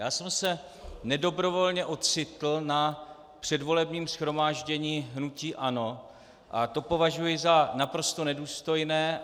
Já jsem se nedobrovolně ocitl na předvolebním shromáždění hnutí ANO a to považuji za naprosto nedůstojné.